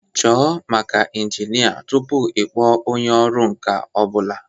Chọọ maka injinia tupu ịkpọọ onye ọrụ nka ọ bụla